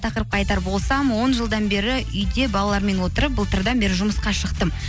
тақырыпқа айтар болсам он жылдан бері үйде балалармен отырып былтырдан бері жұмысқа шықтым